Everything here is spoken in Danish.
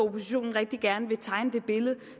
at oppositionen rigtig gerne vil tegne det billede